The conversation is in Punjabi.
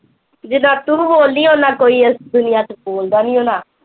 ਜਿੰਨਾ ਕੁ ਤੂੰ ਬੋਲਦੀ ਆ ਓਨਾ ਕੋਈ ਇਸ ਦੁਨੀਆ ਤੇ ਬੋਲਦਾ ਨੀ ਹੋਣਾ